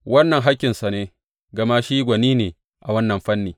Wannan hakkinsa ne, gama shi gwani ne a wannan fanni.